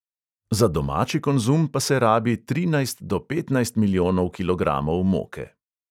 Za domači konzum pa se rabi trinajst do petnajst milijonov kilogramov moke.